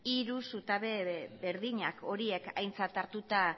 hiru zutabe berdinak horiek aintzat hartuta